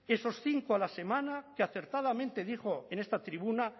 esos cinco a la semana que acertadamente dijo en esta tribuna